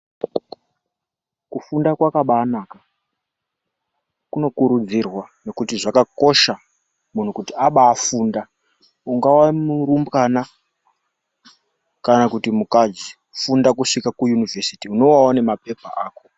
Kufunda kwakabanaka kunokurudzirwa ngekuti zvakakosha kuti muntu aba funda ungava uri murumbwana kana mukadzi funda kusvika kuunivhesiti unova une mapepa ako.